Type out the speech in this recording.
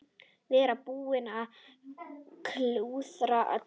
Vera búinn að klúðra öllu.